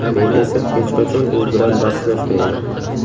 Men esa hech qachon u bilan bahslashmayman”.